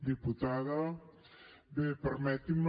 diputada bé permeti’m